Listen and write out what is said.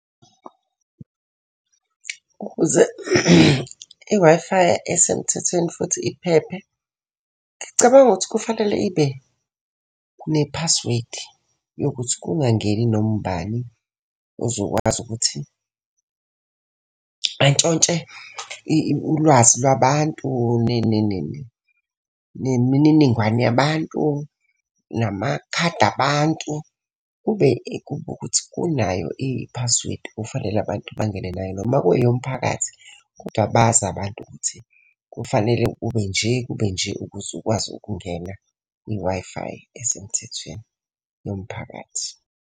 Ukuze i-Wi-Fi esemthethweni futhi iphephe. Ngicabanga ukuthi kufanele ibe ne-password yokuthi kungangeni noma ubani ozokwazi ukuthi antshontshe ulwazi lwabantu, nemininingwane yabantu, namakhadi abantu. Kube kube ukuthi unayo i-password okufanele abantu bangene nayo. Noma ku-eyomphakathi kodwa bazi abantu ukuthi kufanele ube nje kube nje ukuze ukwazi ukungena kwi-Wi-Fi esemthethweni yomphakathi.